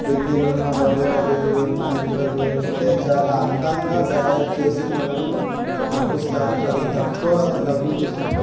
పెళ్ళిళ్ళున్న బంధువుల పెళ్లిళ్లు ఉన్నఇందులోకి వెళ్తే చాల అందంగా తయారుచేసి మనల్ని పంపిస్తారు చాల తక్కువ డబ్బులు తీసుకుంటారు.